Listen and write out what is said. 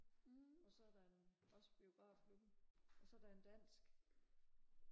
og så er der en også biografklubben og så er der en dansk